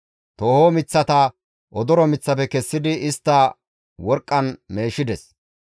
Tooho miththata odoro miththafe kessidi istta worqqan meeshides.